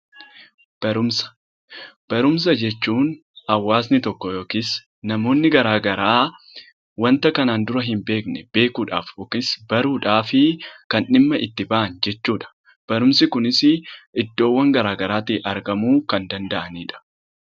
Barumsa Barumsa jechuun hawaasni tokko yookiis namoonni garaa garaa wanta kanaan dura hin beekne beekuu dhaaf yookiin baruu dhaaf kan dhimma itti bahan jechuu dha. Barumsi kunis iddoowwan garaa garaa tii argamuu kan dsnda'ani dha.